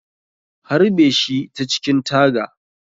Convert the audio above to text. Harbe shi ta cikin taga.